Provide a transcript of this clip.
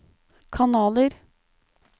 kanaler